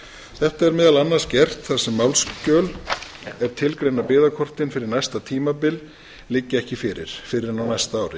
þetta er meðal annars gert þar sem málsskjöl er tilgreina byggðakortin fyrir næsta tímabil liggja ekki fyrir fyrr en á næsta ári